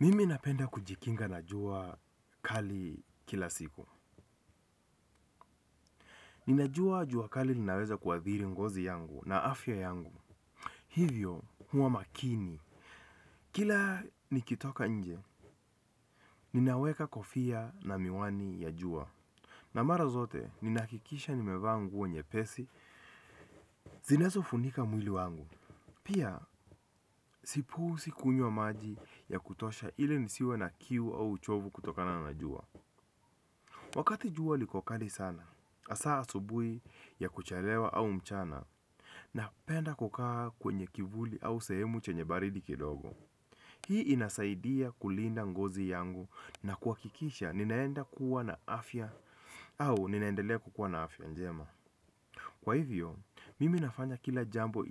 Mimi napenda kujikinga na jua kali kila siku. Ninajua jua kali linaweza kuathiri ngozi yangu na afya yangu. Hivyo, huwa makini. Kila nikitoka nje, ninaweka kofia na miwani ya juwa. Na mara zote, ninahakikisha nimevaa nguo nyepesi, zinazo funika mwili wangu. Pia, si puuzi kunywa maji ya kutosha ili nisiwe na kiu au uchovu kutokana na jua. Wakati jua liko kali sana, hasa asubuhi ya kuchalewa au mchana napenda kukaa kwenye kivuli au sehemu yenye baridi kidogo. Hii inasaidia kulinda ngozi yangu na kuhakikisha ninaenda kuwa na afya au ninaendelea kukuwa na afya njema. Kwa hivyo, mimi nafanya kila jambo